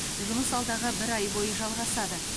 жұмыс алдағы бір ай бойы жалғасады